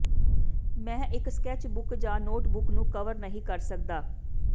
ਮੈਂ ਇੱਕ sketch book ਜਾਂ ਨੋਟਬੁੱਕ ਨੂੰ ਕਵਰ ਨਹੀਂ ਕਰ ਸਕਦਾ